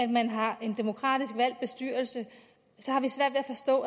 man har en demokratisk valgt bestyrelse